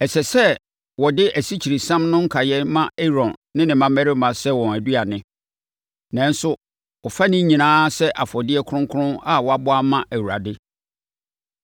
Ɛsɛ sɛ wɔde asikyiresiam no nkaeɛ ma Aaron ne ne mmammarima sɛ wɔn aduane; nanso wɔfa ne nyinaa sɛ afɔdeɛ kronkron a wɔabɔ ama Awurade.